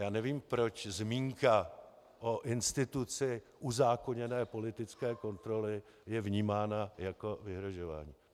Já nevím, proč zmínka o instituci uzákoněné politické kontroly je vnímána jako vyhrožování.